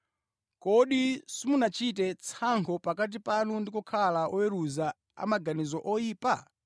kodi simunachite tsankho pakati panu ndi kukhala oweruza a maganizo oyipa?